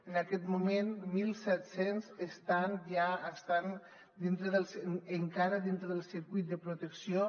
en aquest moment mil set cents estan encara dintre del circuit de protecció